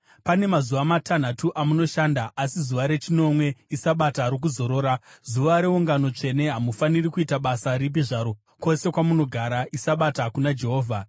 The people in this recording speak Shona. “ ‘Pane mazuva matanhatu amunoshanda asi zuva rechinomwe iSabata rokuzorora, zuva reungano tsvene. Hamufaniri kuita basa ripi zvaro kwose kwamunogara, iSabata kuna Jehovha.